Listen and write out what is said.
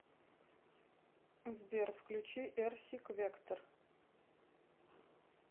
сбер включи эрсик вектор